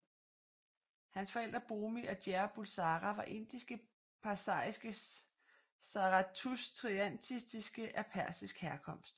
Hans forældre Bomi og Jer Bulsara var indiske parsariske zarathustrianistiske af persisk herkomst